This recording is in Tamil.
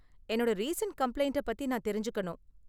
என்னோட ரீசண்ட் கம்ப்ளைண்ட்ட பத்தி நான் தெரிஞ்சுக்கணும்